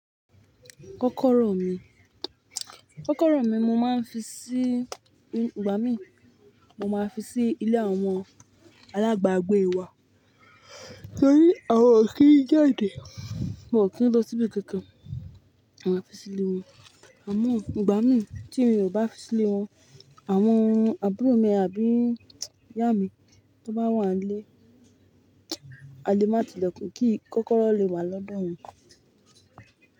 Kọ́kọ́rọ́ mi, kọ́kọ́rọ́ mi mo máa ń fi sí, ìgbà mí, mo máa fi sí ilé àwọn alágbagbé wa. Tori awọn ò kí i jáde, wọn ki lọ síbi kankan, ma fi sí ilé wọn. Àmọ́ ìgbà mí tí mi ò bá fi sí ilé wọn, àwọn àbúrò mi àbí ìyá mi tó bá wà nílé, a lè má ti lẹkun kí kọ́kọ́rọ́ lè wà lọ́dọ̀ wọn.